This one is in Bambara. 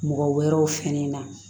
Mɔgɔ wɛrɛw fɛnɛ na